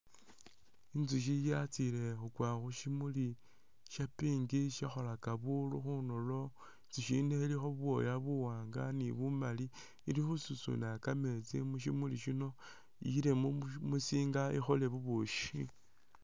Inzushi yatsile khukwa khu shimuli sha pink shishakhola buunu khunulo. Inzushi yino ilikho bubwoya buwaanga ni bumaali ili khususuna kameetsi mu shimuli muno iyile mu musinga ikhole bubushi.